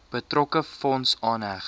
betrokke fonds aanheg